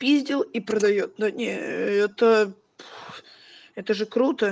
пиздел и продаёт ну не это это же круто